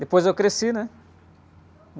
Depois eu cresci, né?